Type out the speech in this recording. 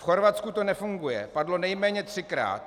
V Chorvatsku to nefunguje - padlo nejméně třikrát.